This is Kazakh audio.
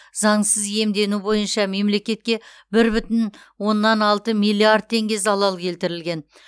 заңсыз иемдену бойынша мемлекетке бір бүтін оннан алты миллиард теңге залал келтірген